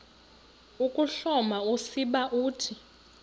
ukuhloma usiba uthi